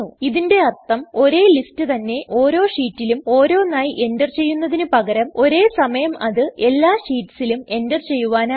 ഇതിൻറെ അർത്ഥം ഒരേ ലിസ്റ്റ് തന്നെ ഓരോ ഷീറ്റിലും ഓരോന്നായി എൻറർ ചെയ്യുന്നതിന് പകരം ഒരേ സമയം അത് എല്ലാ ഷീറ്റ്സിലും എൻറർ ചെയ്യുവാനാകും